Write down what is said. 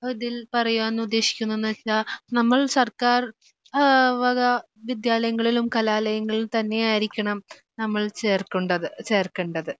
ഇതിൽ പറയുവാൻ ഉദ്ദേശിക്കുന്നതെന്നുവെച്ചാൽ നമ്മൾ സർക്കാർ ഏഹ് വക വിദ്യാലയങ്ങളിലും കലാലയങ്ങളിലും തന്നെ ആയിരിക്കണം നമ്മൾ ചേർക്കുണ്ടത് ചേർക്കേണ്ടത്.